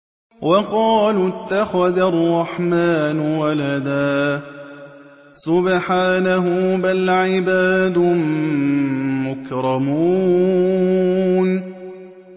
وَقَالُوا اتَّخَذَ الرَّحْمَٰنُ وَلَدًا ۗ سُبْحَانَهُ ۚ بَلْ عِبَادٌ مُّكْرَمُونَ